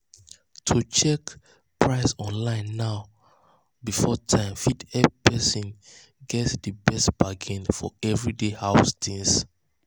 to check to check price online before time fit help person get di best bargain for everyday house things.